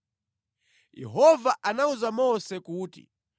Yehova anawuza Mose kuti,